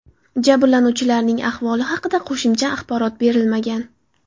Jabrlanuvchilarning ahvoli haqida qo‘shimcha axborot berilmagan.